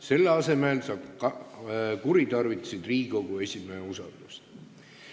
Selle asemel sa kuritarvitasid Riigikogu esimehe usaldust.